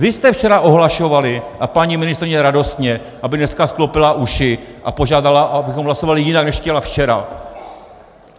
Vy jste včera ohlašovali a paní ministryně radostně, aby dneska sklopila uši a požádala, abychom hlasovali jinak, než chtěla včera.